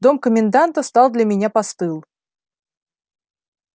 дом коменданта стал для меня постыл